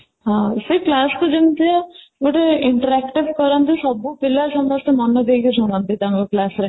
ହଁ, ସେ class କୁ ଯେମିତିଆ ଗୋଟେ interactive କରନ୍ତି ସବୁପିଲା ସମସ୍ତେ ମନଦେଇକି ଶୁଣନ୍ତି ତାଙ୍କ class ରେ